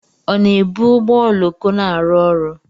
Ọ na-ebu ụgbọ oloko na-arụ ọrụ?